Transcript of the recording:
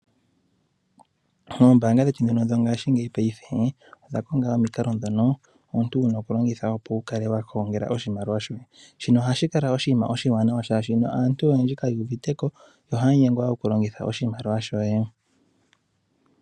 Ombaanga dhetu ndhino dho ngaashingeyi paife odha konga omikalo ndhono omuntu wuna okulongitha opo wu kale wa gongela oshimaliwa shoye. Shino ohashi kala oshinima oshiwanawa shaashi aantu oyendji ka yu uvite ko, yo ohaya nyengwa okulongitha oshimaliwa shawo.